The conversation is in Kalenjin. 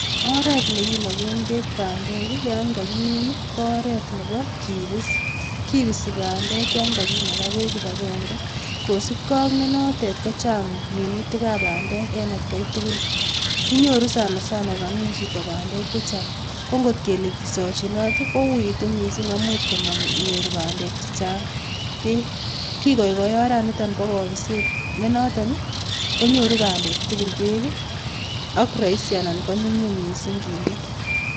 Oret ne kinakee beek bandek yon kakimin ko oret nebo kipiis, kipisi bandek yon kakinaka beek kibagenge kosupkei ak nenoten kochang minutikab bandek eng atkei tugul. Kinyoru sana sana kokamin chito bandeek chechang, ngot kele kisachinote kouuitu mising akomuch manyor bandek chechang beek, kikaikai oret nito bo kapiset, nenoton konyoru bandeek tugul beek ak raisi ako nyumnyum mising kinde.